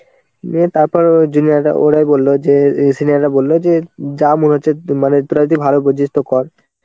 দিয়ে তারপর junior রা ওরাই বললো যে অ্যাঁ senior রা বলল যে যা মনে হচ্ছে মানে তোরা যদি ভালো বুঝিস তো কর.